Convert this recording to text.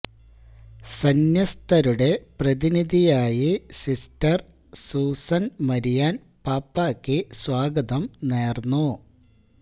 സന്ന്യസ്തരുടെ പ്രതിനിധിയായി sister Susan Marian പാപ്പായ്ക്ക് സ്വാഗതം നേര്ന്നു